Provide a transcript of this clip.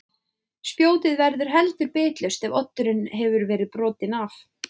Spjótið verður heldur bitlaust ef oddurinn hefur verið brotinn af.